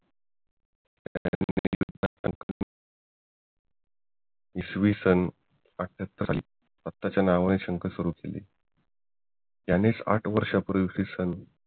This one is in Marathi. इसवीसन अष्ट्याहत्तर स्वतःच्या नावाने शंख चालू केले त्यानेच आठ वर्ष्यापुर्वी